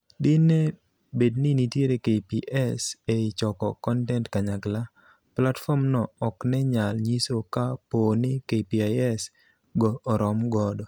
Din e bedni nitiere KPs ei choko kontent kanyakla, platform no oknenyal nyiso ka pooni KPIs go orom godo.